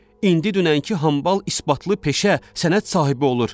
İndi dünənki hambal isbatlı peşə sənət sahibi olur.